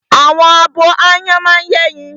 Àwọn abo áyán máa ń yẹ́yin